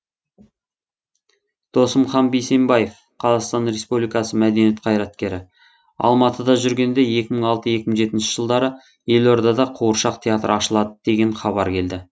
досымхан бейсенбаев қазақстан республикасының мәдениет қайраткері алматыда жүргенде екі мың алты екі мың жетінші жылдары елордада қуыршақ театры ашылады деген хабар келді